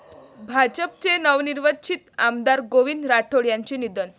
भाजपचे नवनिर्वाचित आमदार गोविंद राठोड यांचे निधन